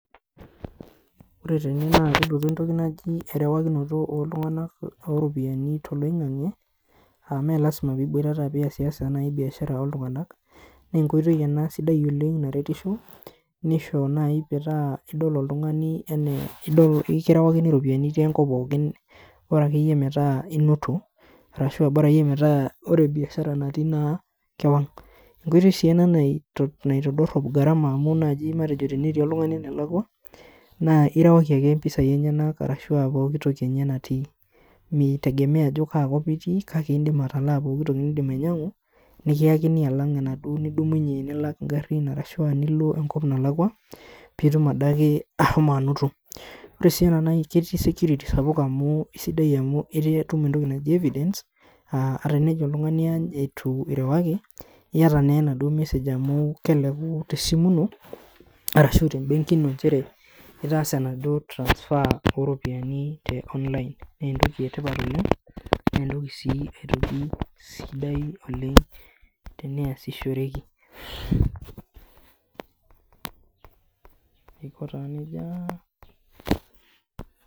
Ore tene naa kelotu entoki naji erewakinoto oltung'anak oropiani toloing'ang'e uh mee lasima piboitata piyasiyasa naai biashara oltung'anak nenkoitoi ena sidai oleng naretisho nisho naaji metaa idol oltung'ani enee ekirewakini iropiani itii enkop pookin ore akeyie metaa inoto arashu bora akeyie metaa ore biashara natii naa kewang enkoitoi sii ena nai naitodorrop gharama amu naaji matejo tenetii oltung'ani enelakua naa irewaki ake impisai enyenak arashua pokitoki enye natii mitegemea ajo kaakop itii kake indim atalaa nindim ainyang'u nikiyakini alang enaduo nidumunye nilak ingarrin arashua nilo enkop nalakua piitum adake ahomo anoto ore sii ena nai ketii security sapuk amu isidai amu etaa etum entoki naji evidence uh tenejo oltung'ani aany eitu irewaki iyata naa enaduo message amu keleku tesimu ino arashu tembenki ino nchere itaasa enaduo transfer oropiani te online nentoki etipat oleng nentoki sii aitoki sidai oleng teneasishorekiaiko taa nejia.